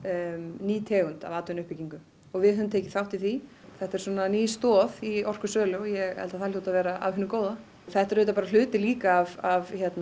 ný tegund af atvinnuuppbyggingu og við höfum tekið þátt í því þetta er svona ný stoð í orkusölu og ég held að það hljóti að vera af því góða þetta er auðvitað bara hluti líka af